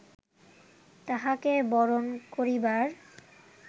তাঁহাকে বরণ করিবার